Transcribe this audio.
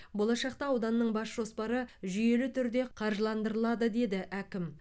болашақта ауданның бас жоспары жүйелі түрде қаржыландырылады деді әкім